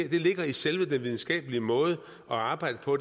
ligger i selve den videnskabelige måde at arbejde på